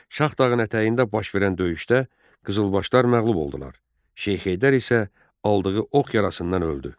Şah dağın ətəyində baş verən döyüşdə Qızılbaşlar məğlub oldular, Şeyx Heydər isə aldığı ox yarasından öldü.